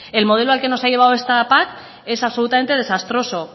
el modelo al que nos ha llevado esta pac es absolutamente desastroso